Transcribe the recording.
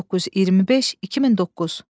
1925-2009.